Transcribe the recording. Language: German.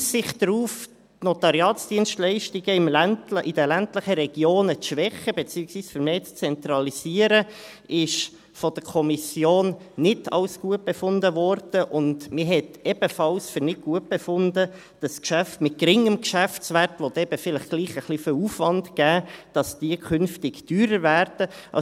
Die Aussicht darauf, die Notariatsdienstleistungen in den ländlichen Regionen zu schwächen, beziehungsweise vermehrt zu zentralisieren, wurde von der Kommission nicht für gut befunden, und man befand ebenfalls für nicht gut, dass Geschäfte mit geringem Geschäftswert, die dann vielleicht doch ein bisschen Aufwand verursachen, künftig teurer werden.